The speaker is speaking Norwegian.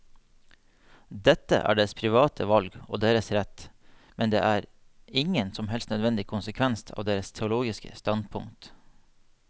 Dette er deres private valg og deres rett, men det er ingen som helst nødvendig konsekvens av deres teologiske standpunkt.